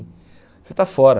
Você está fora.